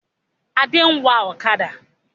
Adé ń wá ọ̀kadà